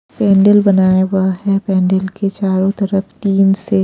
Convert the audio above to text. पेंडल बनाया हुआ है पेंडल के चारों तरफ तीन से--